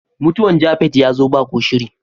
Mutuwan "Japheth " ya zo ba ko shiri.